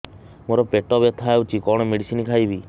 ମୋର ପେଟ ବ୍ୟଥା ହଉଚି କଣ ମେଡିସିନ ଖାଇବି